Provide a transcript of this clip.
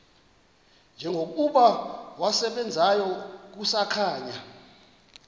njengokuba wasebenzayo kusakhanya